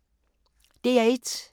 DR1